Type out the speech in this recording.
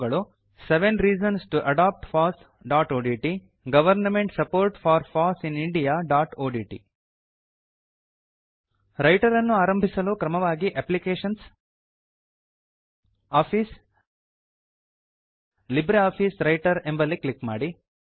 ಅವುಗಳು seven reasons to adopt fossಒಡಿಟಿ government support for foss in indiaಒಡಿಟಿ ರೈಟರ್ ಅನ್ನು ಆರಂಭಿಸಲು ಕ್ರಮವಾಗಿ ಅಪ್ಲಿಕೇಶನ್ಸ್ ಆಫೀಸ್ ಲಿಬ್ರಿಆಫಿಸ್ ವ್ರೈಟರ್ ಎಂಬಲ್ಲಿ ಕ್ಲಿಕ್ ಮಾಡಿ